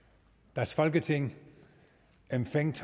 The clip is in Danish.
das folketing empfängt